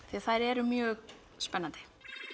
því þær eru mjög spennandi